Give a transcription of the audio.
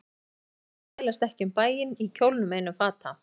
Siðsamar stúlkur þvælast ekki um bæinn í kjólnum einum fata